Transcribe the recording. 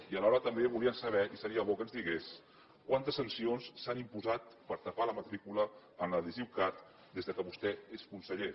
i alhora també volia saber i seria bo que ens digués quantes sancions s’han imposat per tapar la matrícula amb l’adhesiu cat des que vostè és conseller